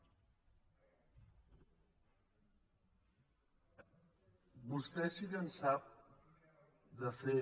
vostè sí que en sap de fer